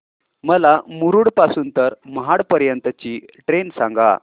मला मुरुड पासून तर महाड पर्यंत ची ट्रेन सांगा